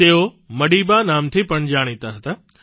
તેઓ મડીબા ના નામથી પણ જાણીતા હતા